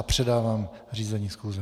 A předávám řízení schůze.